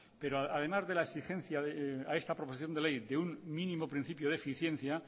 pero además de la exigencia a esta proposición de ley de un mínimo principio de eficiencia